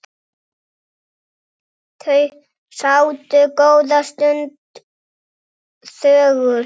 Þau sátu góða stund þögul.